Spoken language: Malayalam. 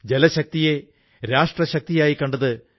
ജലശക്തിയെ രാഷ്ട്രശക്തിയായി കണ്ടത് ഡോ